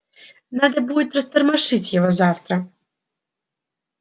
надо будет растормошить его завтра